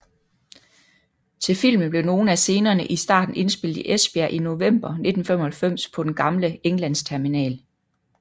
Til filmen blev nogle af scenerne i starten indspillet i Esbjerg i november 1995 på den gamle Englandsterminal